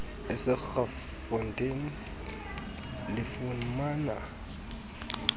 ese kraaifontein lifumana